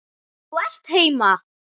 Þú ert heima!